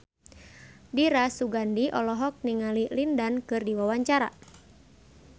Dira Sugandi olohok ningali Lin Dan keur diwawancara